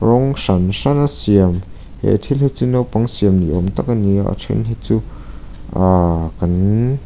rawng hran hrana siam he thil hi chu naupang siam ni awm tak ani a a then hi chu aaa kan--